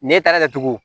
N'e taara kɛ cogo